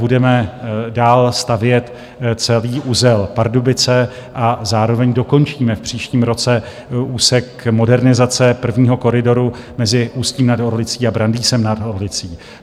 Budeme dál stavět celý uzel Pardubice a zároveň dokončíme v příštím roce úsek modernizace prvního koridoru mezi Ústím nad Orlicí a Brandýsem nad Orlicí.